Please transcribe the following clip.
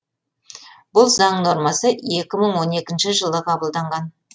бұл заң нормасы екі мың он екінші жылы қабылданған